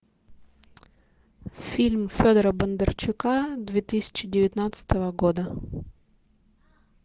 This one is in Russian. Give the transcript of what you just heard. фильм федора бондарчука две тысячи девятнадцатого года